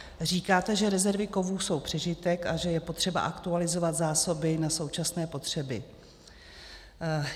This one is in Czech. Říkáte, že rezervy kovů jsou přežitek a že je potřeba aktualizovat zásoby na současné potřeby.